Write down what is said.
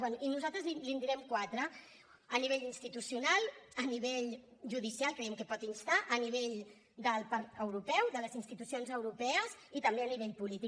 bé nosaltres li’n direm quatre a nivell institucional a nivell judicial creiem que pot instar a nivell del marc europeu de les institucions europees i també a nivell polític